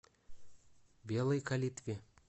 белой калитве